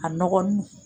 A nɔgɔn dun